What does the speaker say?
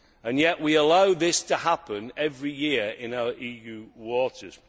Yet we allow this to happen every year in EU waters.